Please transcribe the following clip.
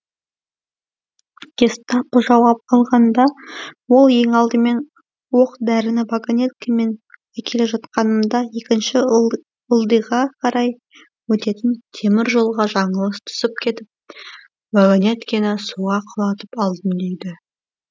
гестапо жауап алғанда ол ең алдымен оқ дәріні вагонеткемен әкеле жатқанымда екінші ылдиға қарай өтетін темір жолға жаңылыс түсіп кетіп вагонеткені суға құлатып алдым дейді